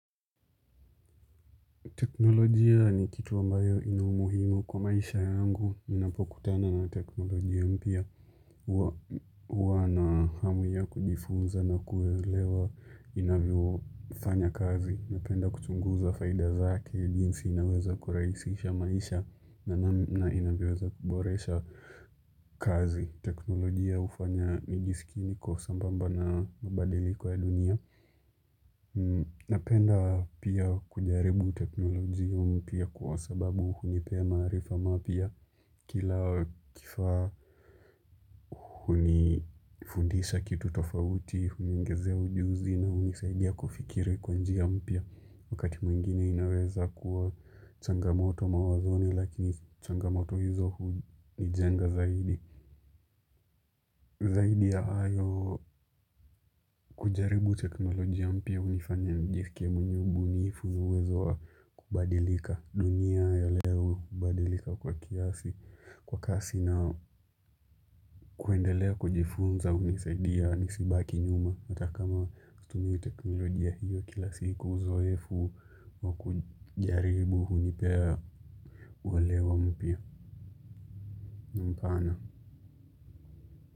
Teknolojia ni kitu ambayo ina umuhimu kwa maisha yangu. Ninapokutana na teknolojia mpya. Huwa na hamu ya kujifunza na kuelewa inavyofanya kazi. Napenda kuchunguza faida zake. Jinsi inaweza kurahisisha maisha na namna inavyoeza kuboresha kazi. Teknolojia ufanya nijisikie niko sambamba na mabadiliko ya dunia. Napenda pia kujaribu teknolojia mpya kwa sababu hunipea maarifa mapya kila kifa hunifundisha kitu tofauti, huniongezea ujuzi na hunisaidia kufikiri kwa njia mpya wakati mwingine inaweza kuwa changamoto mawazoni lakini changamoto hizo hunijenga zaidi. Zaidi ya hayo kujaribu teknolojia mpya hunifanya nijiskie mwenye ubunifu na uwezo wa kubadilika dunia ya leo hubadilika kwa kiasi kwa kasi na kuendelea kujifunza hunisaidia nisibaki nyuma. Ata kama kutumia teknolojia hiyo kila siku uzoefu wa kujaribu hunipea uelewa mpya na mpana.